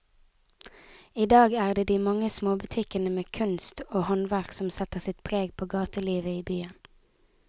I dag er det de mange små butikkene med kunst og håndverk som setter sitt preg på gatelivet i byen.